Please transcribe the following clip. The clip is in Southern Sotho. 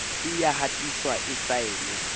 e ya hatiswa e saenwe